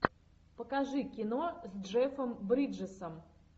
покажи кино с джеффом бриджесом